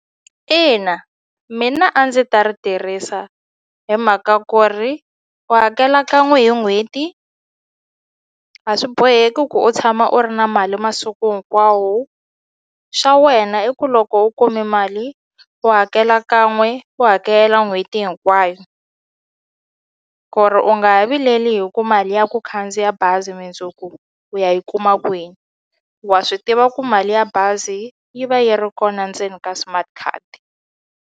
Ina, mina a ndzi ta ri tirhisa hi mhaka ku ri u hakela kan'we hi n'hweti a swi boheki ku u tshama u ri na mali masiku hinkwawo xa wena i ku loko u kume mali u hakela kan'we u hakela n'hweti hinkwayo ku ri u nga ha vileli hi ku mali ya ku khandziya bazi mundzuku u ya yi kuma kwini wa swi tiva ku mali ya bazi yi va yi ri kona ndzeni ka smart card.